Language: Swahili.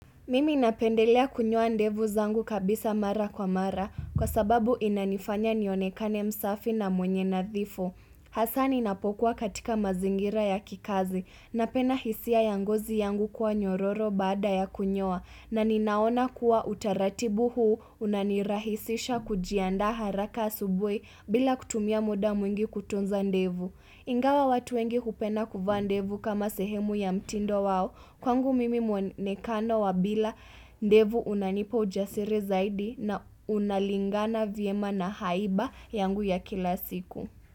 Mimi napendelea kunyoa ndevu zangu kabisa mara kwa mara kwa sababu inanifanya nionekane msafi na mwenye nadhifu. Hasa ni napokuwa katika mazingira ya kikazi na penda hisia ya ngozi yangu kuwa nyororo baada ya kunyoa na ninaona kuwa utaratibu huu unanirahisisha kujiandaa haraka asubuhi bila kutumia muda mwingi kutunza ndevu. Ingawa watu wengi hupenda kuvaa ndevu kama sehemu ya mtindo wao kwangu mimi mwenekano wa bila ndevu unanipa ujasiri zaidi na unalingana vyema na haiba yangu ya kila siku.